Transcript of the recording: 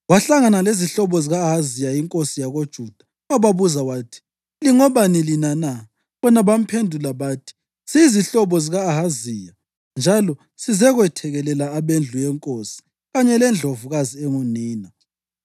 wahlangana lezihlobo zika-Ahaziya inkosi yakoJuda wababuza wathi, “Lingobani lina na?” Bona bamphendula bathi, “Siyizihlobo zika-Ahaziya, njalo sizekwethekelela abendlu yenkosi kanye lendlovukazi engunina.”